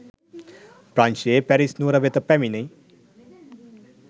ප්‍රංශයේ Paris නුවර වෙත පැමිණි